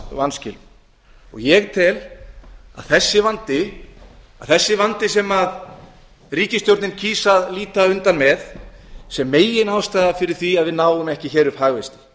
vanskilum ég tel að þessi vandi sem ríkisstjórnin kýs að líta undan með sé meginástæða fyrir því að við náum ekki upp hagvexti